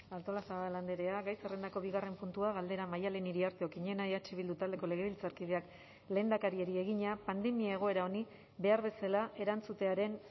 artolazabal andrea gai zerrendako bigarren puntua galdera maddalen iriarte okiñena eh bildu taldeko legebiltzarkideak lehendakariari egina pandemia egoera honi behar bezala erantzutearen